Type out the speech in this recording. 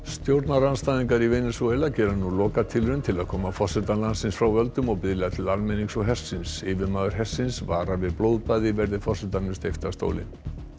stjórnarandstæðingar í Venesúela gera nú lokatilraun til að koma forseta landsins frá völdum og biðla til almennings og hersins yfirmaður hersins varar við blóðbaði verði forsetanum steypt af stóli